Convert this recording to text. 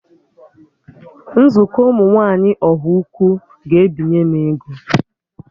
Nzukọ ụmụ nwaanyị Ọhaukwu ga-ebinye m ego